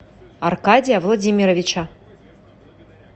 аркадия владимировича